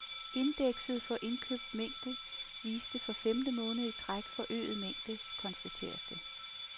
Indekset for indkøbt mængde viste for femte måned i træk forøget mængde, konstateres det.